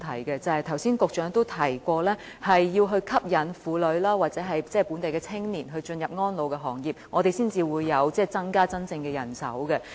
局長剛才也提過，要吸引婦女或本地青年加入安老行業，我們才能真正增加人手。